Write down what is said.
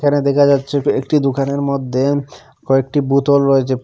এখানে দেখা যাচ্ছে একটি দুকানের মধ্যে কয়েকটি বোতল রয়েছে প--